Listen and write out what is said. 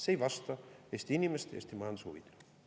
See ei vasta Eesti inimeste ja Eesti majanduse huvidele.